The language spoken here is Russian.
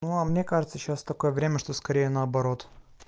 ну а мне кажется сейчас такое время что скорее наоборот